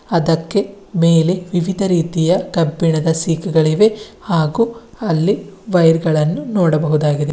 ಅದಕ್ಕೆ ಮೇಲೆ ವಿವಿಧ ರೀತಿಯ ಕಬ್ಬಿಣದ ಸೀಕು ಗಳಿವೆ ಹಾಗು ಅಲ್ಲಿ ವೈರ್ ಗಳನ್ನು ನೋಡಬಹುದಾಗಿದೆ.